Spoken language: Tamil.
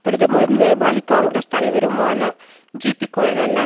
பிரதமரும் நேபாளி காங்கிரஸ் தலைவருமான ஜிபிகொய்ராலா